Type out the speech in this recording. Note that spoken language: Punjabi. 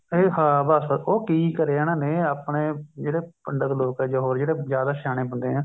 ਇਹ ਹਾਂ ਬੱਸ ਉਹ ਕੀ ਕਰਿਆ ਇਹਨਾ ਨੇ ਆਪਣੇ ਜਿਹੜੇ ਪੰਡਤ ਲੋਕ ਹੈ ਜਾਂ ਹੋਰ ਜਿਹੜੇ ਜਿਆਦਾ ਸਿਆਣੇ ਬੰਦੇ ਹੈ